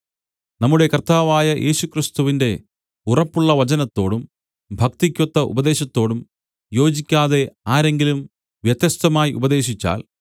നമ്മുടെ കർത്താവായ യേശുക്രിസ്തുവിന്റെ ഉറപ്പുള്ള വചനത്തോടും ഭക്തിക്കൊത്ത ഉപദേശത്തോടും യോജിക്കാതെ ആരെങ്കിലും വ്യത്യസ്തമായി ഉപദേശിച്ചാൽ